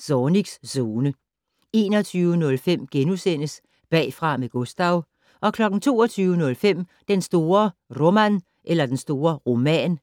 Zornigs Zone * 21:05: Bagfra med Gustav * 22:05: Den store Roman